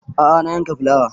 A'a na yanka fulawa